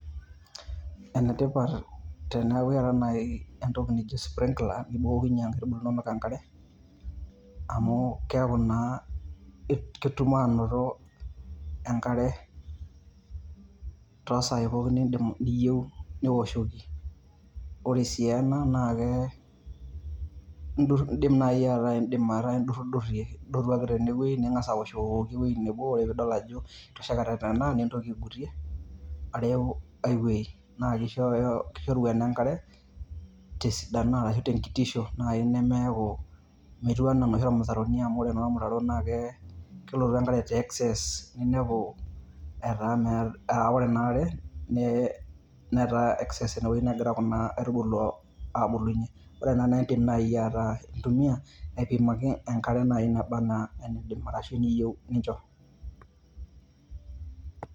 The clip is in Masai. Enetipat teneeku keetae nai entoki naijo nai sprinkler ,nibukokinye nkaitubulu inonok enkare, amu keeku naa ketum anoto enkare tosai pookin niyieu niwoshoki. Ore si ena na ke, idim nai ataa idim ataa idurrudurrie. Idotu ake tenewei, ning'asa awoshoki ewueji nebo. Ore pidol ajo itoshekate nena, nintoki aigutie, areu ai wuei. Na kishoru ena enkare tesidano arashu tenkitisho nai nemeeku metiu enaa noshi ormutaroni amu, ore naa ormutaro na kelotu enkare te excess. Ninepu etaa ah ore inaare, netaa excess tewei negira kuna aitubulu abulunye. Ore ena na idim nai ataa intumia, aipimaki enkare nai naba enaa enidim ashu eniyieu nincho.